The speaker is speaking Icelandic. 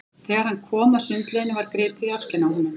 Þegar hann kom að sundlauginni var gripið í öxlina á honum.